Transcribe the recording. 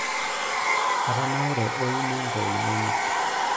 atanaure oo imongo inonok